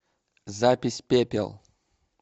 запись пепел